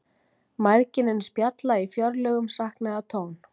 Mæðginin spjalla í fjörlegum saknaðartón.